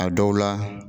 A dɔw la